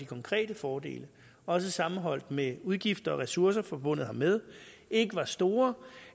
konkrete fordele også sammenholdt med udgifter og ressourcer forbundet hermed ikke var store